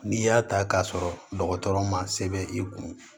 N'i y'a ta k'a sɔrɔ dɔgɔtɔrɔ ma sɛbɛn i kun